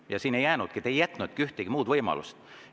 Ja siin ei jäänudki midagi üle, te ei jätnudki ühtegi muud võimalust.